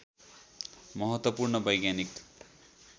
महत्त्वपूर्ण वैज्ञानिक